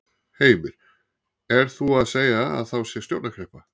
Heimir: Er þú að segja að þá sé stjórnarkreppa?